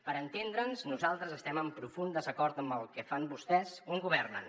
per entendre’ns nosaltres estem en profund desacord amb el que fan vostès on governen